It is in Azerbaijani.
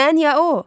Mən ya o?